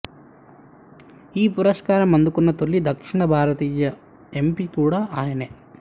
ఈ పురస్కారం అందుకున్న తొలి దక్షిణ భారత ఎంపి కూడా ఆయనే